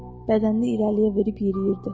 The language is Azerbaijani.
Bədənini irəliyə verib yeriyirdi.